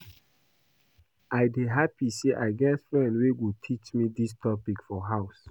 I dey happy say I get friend wey go teach me dis topic for house